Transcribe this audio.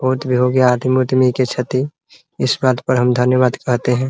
बहुत भी हो गया आदमी उदमी के क्षति इस बात पर हम धन्यवाद कहते हैं ।